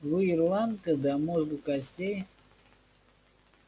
вы ирландка до мозга костей